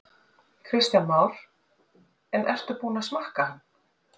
Kristján Már: En ertu búinn að smakka hann?